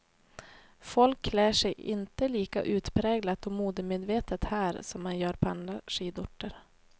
Folk klär sig inte lika utpräglat och modemedvetet här som man gör på andra skidorter.